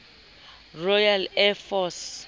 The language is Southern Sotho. royal air force